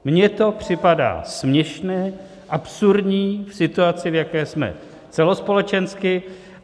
Mně to připadá směšné, absurdní v situaci, v jaké jsme celospolečensky.